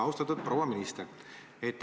Austatud proua minister!